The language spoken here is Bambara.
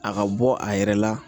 A ka bɔ a yɛrɛ la